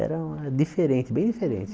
Era diferente, bem diferente.